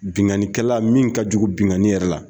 Binkanikɛla min ka jugu binkani yɛrɛ la